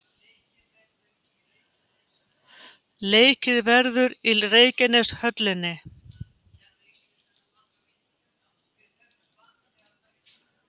Leikið verður í Reykjaneshöllinni.